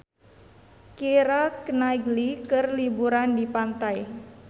Keira Knightley keur liburan di pantai